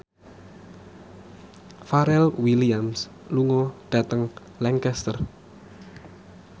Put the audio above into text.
Pharrell Williams lunga dhateng Lancaster